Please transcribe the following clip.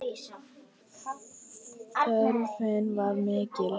Þörfin var mikil.